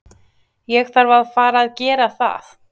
Ég þarf að fara að gera það.